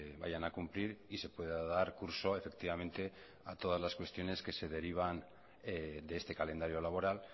vayan a cumplir y se pueda dar curso efectivamente a todas las cuestiones que se derivan de este calendario laboral